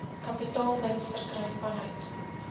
kapitaalwins verkry vanuit